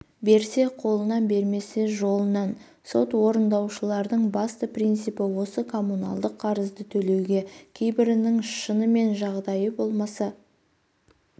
берсе қолынан бермесе жолынан сот орындаушылардың басты принципі осы коммуналдық қарызды төлеуге кейбірінің шынымен жағдайы болмаса